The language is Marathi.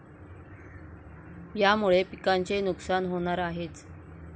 यामुळे पिकांचे नुकसान होणार आहेच.